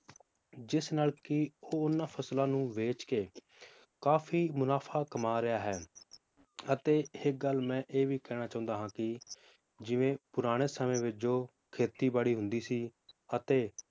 ਜਿਸ ਨਾਲ ਕੀ ਉਹ ਉਹਨਾਂ ਫਸਲਾਂ ਨੂੰ ਵੇਚ ਕੇ ਕਾਫੀ ਮੁਨਾਫ਼ਾ ਕਮਾ ਰਿਹਾ ਹੈ, ਅਤੇ ਇਕ ਗੱਲ ਮੈ ਇਹ ਵੀ ਕਹਿਣਾ ਚਾਹੁੰਦਾ ਹਾਂ ਕੀ, ਜਿਵੇਂ ਪੁਰਾਣੇ ਸਮੇ ਵਿਚ ਜੋ ਖੇਤੀ ਬੜੀ ਹੁੰਦੀ ਸੀ ਅਤੇ